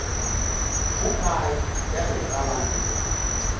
mo gae bjalo ka banna